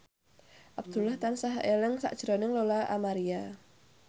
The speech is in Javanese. Abdullah tansah eling sakjroning Lola Amaria